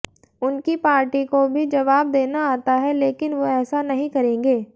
उनकी पार्टी को भी जवाब देना आता है लेकिन वो ऐसा नहीं करेंगे